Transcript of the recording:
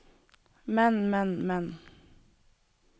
men men men